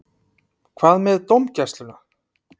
Hvað með dómgæsluna?